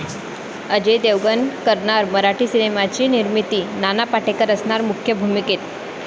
अजय देवगण करणार मराठी सिनेमाची निर्मिती, नाना पाटेकर असणार मुख्य भूमिकेत